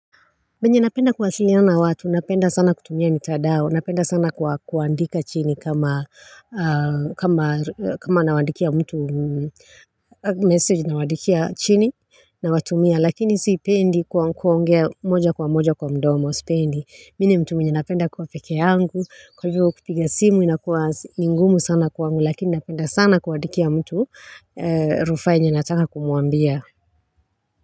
Venye napenda kuwasiliana watu, napenda sana kutumia mitadao, napenda sana kuandika chini kama, kama, kama nawaandikia mtu, message nawwandikia chini, nawatumia, lakini sipendi kwa kuongea moja kwa moja kwa mdomo, sipendi, mimi ni mtu mwenye napenda kuwa peke yangu, kwa hivyo kupiga simu, inakuwa ni ngumu sana kwangu, lakini napenda sana kuandikia mtu, rufaa yenye nataka kumwambia.